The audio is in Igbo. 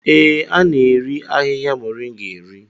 Ee, a na-eri ahihia moringa eri.